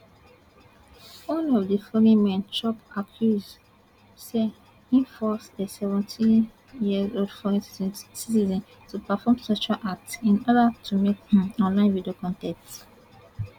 one of di foreign men chop accuse say im force a seventeen years old foreign citizen to perform sexual acts in order to make um online video con ten t